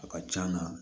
A ka c'an na